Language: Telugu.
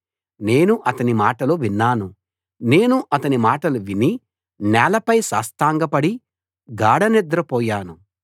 నేను అతని మాటలు విన్నాను నేను అతని మాటలు విని నేలపై సాష్టాంగపడి గాఢనిద్ర పోయాను